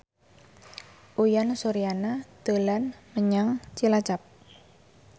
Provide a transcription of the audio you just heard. Uyan Suryana dolan menyang Cilacap